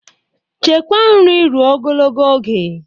Chekwaa nri ruo ogologo oge